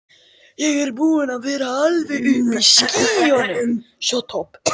Ég er búinn að vera alveg uppi í skýjunum.